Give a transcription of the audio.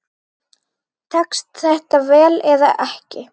Tekst þetta vel eða ekki?